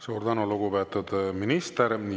Suur tänu, lugupeetud minister!